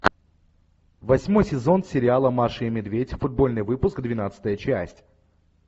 восьмой сезон сериала маша и медведь футбольный выпуск двенадцатая часть